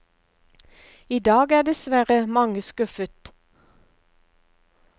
I dag er dessverre mange skuffet.